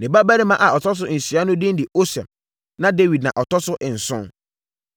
Ne babarima a ɔtɔ so nsia no din de Osem, na Dawid na na ɔtɔ so nson.